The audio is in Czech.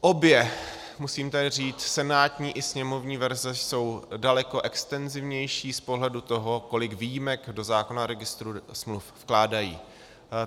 Obě, musím tady říct, senátní i sněmovní verze jsou daleko extenzivnější z pohledu toho, kolik výjimek do zákona o registru smluv vkládají.